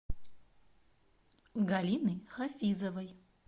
галины хафизовой